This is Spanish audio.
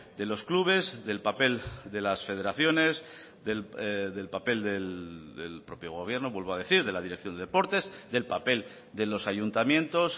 de los clubes del papel de las federaciones del papel del propio gobierno vuelvo a decir de la dirección de deportes del papel de los ayuntamientos